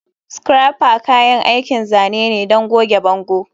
Scraper kayan aikin zane ne don goge bango.